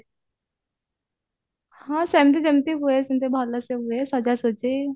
ହଁ ସେମତି ଯେମତି ହୁଏ ଭଲସେ ହୁଏ ସଜା ସଜି